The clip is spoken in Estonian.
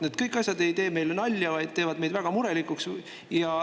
Kõik need asjad ei tee meile nalja, vaid teevad meid väga murelikuks.